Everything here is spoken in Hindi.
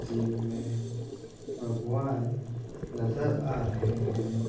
सीन में भगवान नज़र आ रहे है।